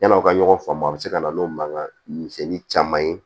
Yann'aw ka ɲɔgɔn faamu a bɛ se ka na n'o mankan misɛnnin caman ye